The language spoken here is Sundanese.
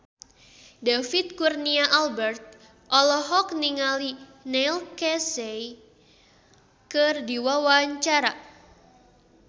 David Kurnia Albert olohok ningali Neil Casey keur diwawancara